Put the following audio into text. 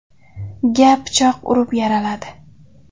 ga pichoq urib, yaraladi.